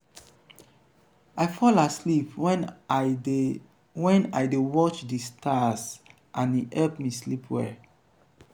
i fall asleep wen i dey wen i dey watch di stars and e help me sleep well.